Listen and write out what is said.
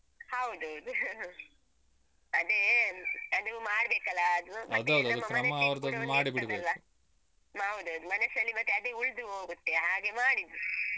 ಹೌದೌದು ಅದೇ ಅದು ಮಾಡ್ಬೇಕಲ್ಲ ಅದು ನಮ್ಮ ಮನಸ್ಸಿಗ್ ಕೂಡ ಒಂದಿರ್ತದ್ದಲ್ಲಾ . ಅಹ್ ಹೌದೌದು ಮನಸ್ಸಲ್ಲಿ ಮತ್ತೆ ಅದೇ ಉಳ್ದು ಹೋಗುತ್ತೆ ಹಾಗೆ ಮಾಡಿದ್ದು .